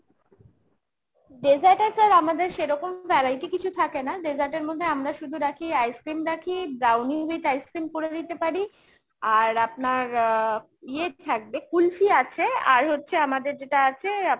dessert এ sir আমাদের সেরকম variety কিছু থাকে না। dessert এর মধ্যে আমরা শুধু রাখি ice-cream রাখি, brownie with ice-cream করে দিতে পারি। আর আপনার আহ ইয়ে থাকবে কুলফি আছে। আর হচ্ছে আমাদের যেটা আছে